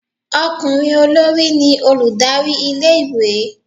okunrin olorí ni olùdarí ilé ìwé